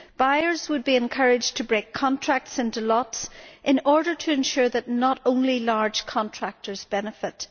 Buyers would be encouraged to break contracts into lots in order to ensure that not just large contractors benefit.